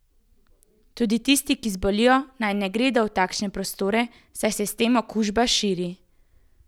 Tudi tisti, ki zbolijo, naj ne gredo v takšne prostore, saj se s tem okužba širi.